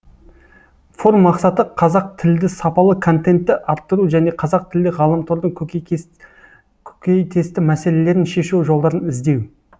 форум мақсаты қазақтілді сапалы контентті арттыру және қазақтілді ғаламтордың көкейтесті мәселелерін шешу жолдарын іздеу